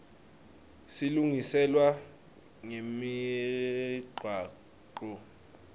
silungiselwa nemigwaco